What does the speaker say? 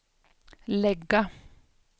lägga